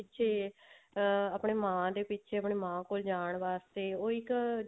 ਜੇ ਵੀ ਆਪਣੇ ਮਾਂ ਦੇ ਪਿੱਛੇ ਆਪਣੀ ਮਾਂ ਕੋਲ ਜਾਣ ਵਾਸਤੇ ਉਹ ਇੱਕ